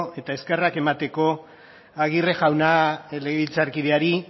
eta eskerrak emateko aguirre jauna legebiltzarkideari